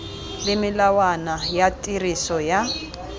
le melawana ya tiriso ya